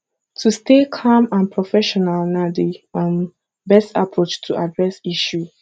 to stay calm and professional na di um best approach to address issue